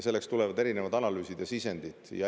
Sellest tulevad erinevad analüüsid ja sisendid.